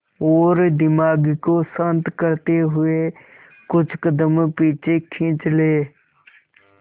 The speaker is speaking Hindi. और दिमाग को शांत करते हुए कुछ कदम पीछे खींच लें